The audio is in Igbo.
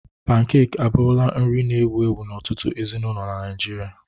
Pankek abụrụla nri na-ewu ewu n'ọtụtụ ezinụlọ na Naịjirịa.